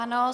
Ano.